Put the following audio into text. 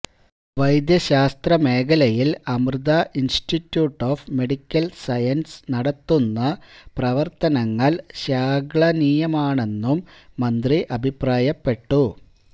വൈദ്യശാസ്ത്ര മേഖലയിൽ Amrita institute of medical sciences നടത്തുന്ന പ്രവർത്തനങ്ങൾ ശ്ലാഘനീയമാണെന്നും മന്ത്രി അഭിപ്രായപ്പെട്ടു